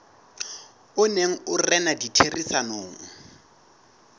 o neng o rena ditherisanong